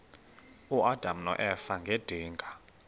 uadam noeva ngedinga